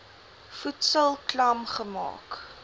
voedsel klam gemaak